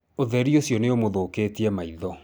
ũtheri ũcio nĩ ũmũthũkĩtie maitho.